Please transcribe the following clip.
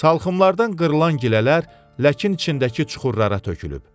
Salxımlardan qırılan gilələr ləkin içindəki çuxurlara tökülüb.